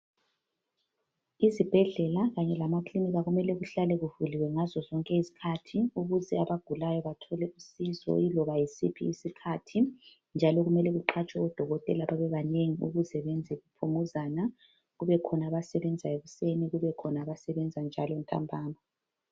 Izibhedlela kanye lamaklinika kumele kuhlale kuvuliwe ngazo zonke izikhathi ukuze abagulayo bathole usizo yiloba yisiphi isikhathi, njalo kumele kuqhatshwe odokotela babe banengi ukuze benze bephumuzana, kube khona abasebenza ekuseni, kube khona abasebenza njalo ntambama.